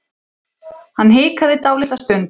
Hann hikaði dálitla stund.